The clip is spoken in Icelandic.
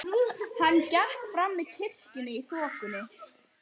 Hann gekk fram með kirkjunni í þokunni.